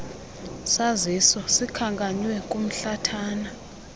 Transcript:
saziso sikhankanywe kumhlathana